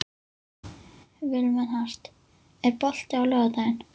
Vilmenhart, er bolti á laugardaginn?